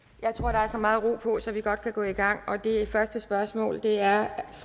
der er så meget ro på at vi godt kan gå i gang og det første spørgsmål er af